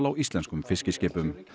íslenskum fiskiskipum